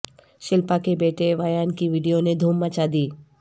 شلپا کے بیٹے ویان کی وڈیو نے دھوم مچادی